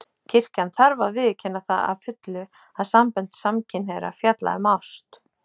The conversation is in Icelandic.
Kirkjan þarf að viðurkenna það að fullu að sambönd samkynhneigðra fjalla um ást.